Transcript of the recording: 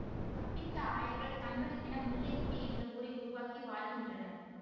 தப்பித்த ஆயர்கள் தங்களுக்கென முல்லை கொடி என்ற ஊரை உருவாக்கி வாழ்கின்றனர்